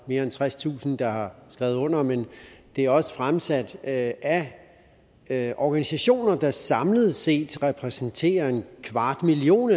mere end tredstusind der har skrevet under men det er også fremsat af af organisationer der samlet set repræsenterer en kvart million